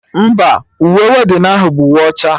Mba, uwe weddinụ ahụ bụ uwe ọcha